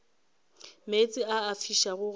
meetse a a fišago ga